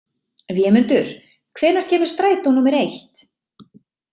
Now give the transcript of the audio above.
Vémundur, hvenær kemur strætó númer eitt?